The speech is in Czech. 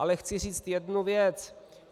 Ale chci říct jednu věc.